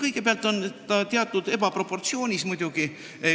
Kõigepealt on see muidugi teatud mõttes ebaproportsionaalne.